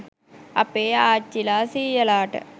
අපේ ආච්චිලා සීයලාට